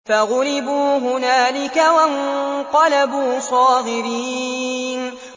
فَغُلِبُوا هُنَالِكَ وَانقَلَبُوا صَاغِرِينَ